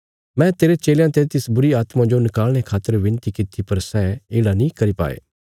मैं तेरे चेलयां ते तिस बुरीआत्मा जो नकाल़णे खातर विनती किति पर सै येढ़ा नीं करी पाये